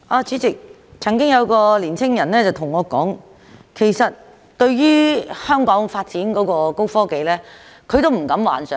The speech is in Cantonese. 主席，曾經有位青年人告訴我，對於香港發展高科技，他其實是不敢有任何幻想的。